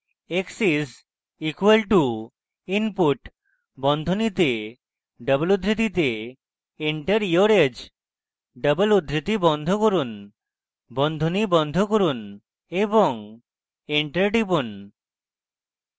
x is equal to input বন্ধনীতে double উদ্ধৃতিতে enter your age double উদ্ধৃতি বন্ধ করুন বন্ধনী বন্ধ করুন এবং enter টিপুন